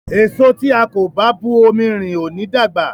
Èso tí a kò bá bu omi rin ò ní dàgbà.